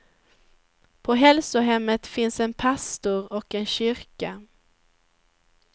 På hälsohemmet finns en pastor och en kyrka.